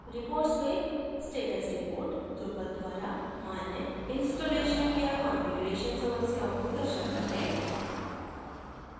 reports में status report drupal द्वारा मान्य installation या कंफिगरेशन समस्याओं को दर्शाता है